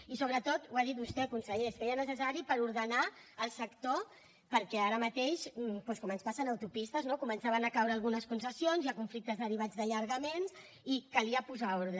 i sobretot ho ha dit vostè conseller es feia necessari per ordenar el sector perquè ara mateix doncs com ens passa en autopistes no començaven a caure algunes concessions hi ha conflictes derivats d’allargaments i calia posar hi ordre